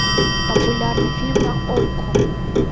популярный фильм на окко